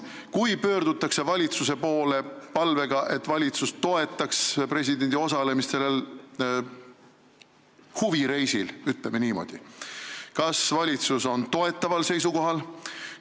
Kui pöördutakse valitsuse poole palvega, et valitsus toetaks presidendi osalemist sellel huvireisil, kas valitsus on siis toetaval seisukohal?